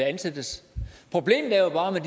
ansættes problemet er jo bare med